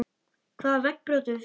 Hvaða vegg brjótum við fyrst?